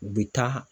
U bɛ taa